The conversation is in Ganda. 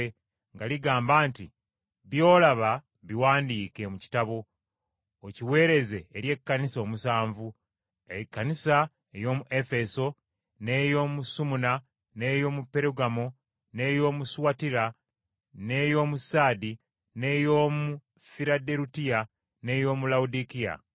nga ligamba nti, “By’olaba, biwandiike mu kitabo, okiweereze eri Ekkanisa omusanvu: Ekkanisa ey’omu Efeso, n’ey’omu Sumuna, n’ey’omu Perugamo, n’ey’omu Suwatira, n’ey’omu Saadi, n’ey’omu Firaderufiya n’ey’omu Lawodikiya.”